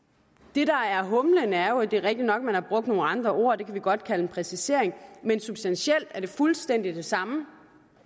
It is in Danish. det der er humlen er jo at det er rigtigt nok at man har brugt nogle andre ord og det kan vi godt kalde en præcisering men substantielt er det fuldstændig det samme